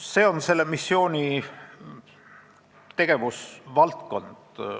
See on selle missiooni tegevusvaldkond.